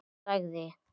Þá sagði